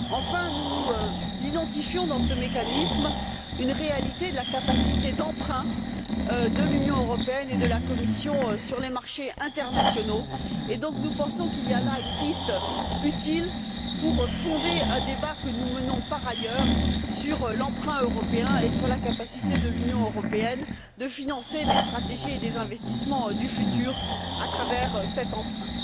Enfin, nous identifions, dans ce mécanisme, une réalité de la capacité d'emprunt de l'Union européenne et de la Commission sur les marchés internationaux, et nous pensons donc qu'il y a là une piste utile pour fonder un débat que nous menons par ailleurs sur l'emprunt européen et sur la capacité de l'Union européenne à financer des stratégies et des investissements du futur à travers cet emprunt.